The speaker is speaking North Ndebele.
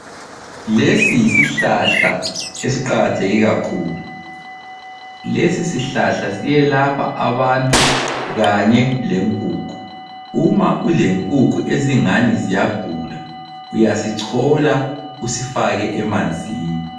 Lesi yisihlahla esiqakatheke kakhulu. Lesi sihlahla siyelapha abantu kanye lenkukhu. Uma ulenkukhu ezingani ziyagula uyasichola usifake emanzini.